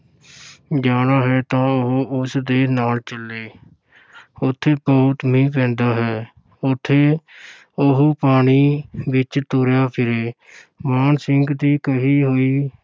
ਜਾਣਾ ਹੈ ਤਾਂ ਉਹ ਉਸ ਦੇ ਨਾਲ ਚੱਲੇ ਉੱਥੇ ਬਹੁਤ ਮੀਂਹ ਪੈਂਦਾ ਹੈ ਉੱਥੇ ਉਹ ਪਾਣੀ ਵਿੱਚ ਤੁਰਿਆ ਫਿਰੇ ਮਾਨ ਸਿੰਘ ਦੀ ਕਹੀ ਹੋਈ